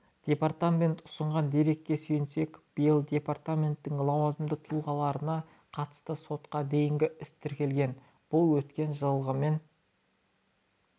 департамент ұсынған дерекке сүйенсек биыл департаменттің лауазымды тұлғаларына қатысты сотқа дейінгі іс тіркелген бұл өткен жылғымен